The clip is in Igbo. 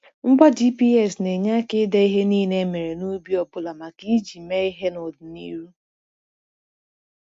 Ngwa GPS na-enye aka ide ihe niile emere n’ubi ọ bụla maka iji mee ihe n’ọdịnihu.